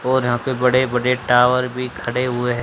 और यहां पे बड़े बड़े टावर भी खड़े हुए है।